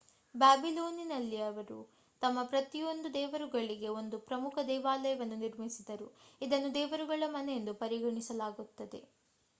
ಬ್ಯಾಬಿಲೋನಿಯನ್ನರು ತಮ್ಮ ಪ್ರತಿಯೊಂದು ದೇವರುಗಳಿಗೆ ಒಂದು ಪ್ರಮುಖ ದೇವಾಲಯವನ್ನು ನಿರ್ಮಿಸಿದರು ಇದನ್ನು ದೇವರುಗಳ ಮನೆಯೆಂದು ಪರಿಗಣಿಸಲಾಗಿತ್ತು